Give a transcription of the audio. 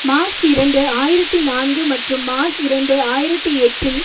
March இரண்டு ஆயிரத்தி நான்கு மற்றும் மார்ச் இரண்டு ஆயிரத்தி எட்டில்